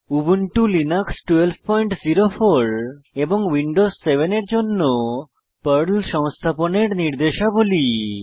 Ubuntu Linux 1204 এবং Windows 7 এর জন্য পর্ল সংস্থাপনের নির্দেশাবলী